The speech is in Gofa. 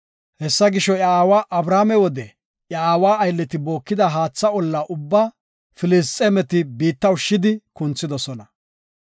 Hessa gisho, iya aawa Abrahaame wode iya aawa aylleti bookida haatha olla ubba Filisxeemeti biitta ushshidi kunthidosona.